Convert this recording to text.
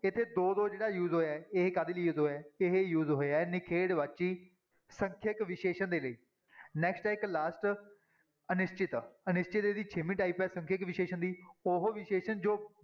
ਇੱਥੇ ਦੋ ਦੋ ਜਿਹੜਾ use ਹੋਇਆ ਹੈ ਇਹ ਕਾਹਦੇ ਲਈ use ਹੋਇਆ ਹੈ ਇਹ use ਹੋਇਆ ਹੈ ਨਿਖੇੜਵਾਚੀ ਸੰਖਿਅਕ ਵਿਸ਼ੇਸ਼ਣ ਦੇ ਲਈ next ਹੈ ਇੱਕ last ਅਨਿਸ਼ਚਿਤ ਅਨਿਸ਼ਚਿਤ ਇਹਦੀ ਛੇਵੀਂ type ਹੈ ਸੰਖਿਅਕ ਵਿਸ਼ੇਸ਼ਣ ਦੀ, ਉਹ ਵਿਸ਼ੇਸ਼ਣ ਜੋ